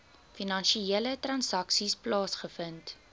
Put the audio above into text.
finansiële transaksies plaasgevind